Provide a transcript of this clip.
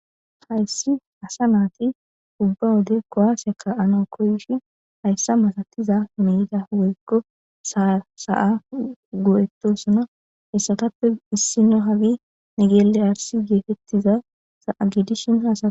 Hayssi assa naythi ubba wode kuwasiys ka'nawu koyshin hayssa mala woykko sa'a goe'thossona heyssathappe isniya negele arsi gethethiza gidishin